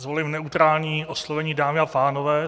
Zvolím neutrální oslovení dámy a pánové.